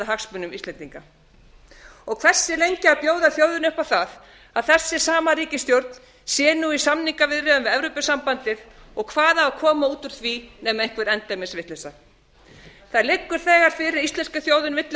hagsmunum íslendinga hversu lengi á að bjóða þjóðinni upp á það að þessi sama ríkisstjórn sé nú í samningaviðræðum við evrópusambandið og hvað á að koma út úr því nema einhver endemis vitleysa það liggur þegar fyrir að íslenska þjóðin vill